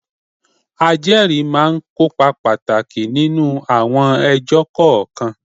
Ajẹ́rìí máa ń kópa pàtàkì nínú àwọn ẹjọ́ kọ̀ọ̀kan.